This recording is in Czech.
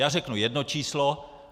Já řeknu jedno číslo.